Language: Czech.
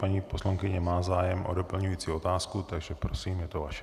Paní poslankyně má zájem o doplňující otázku, takže prosím, je to vaše.